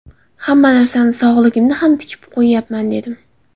Hamma narsamni, sog‘lig‘imni ham tikib qo‘yyapman, dedim.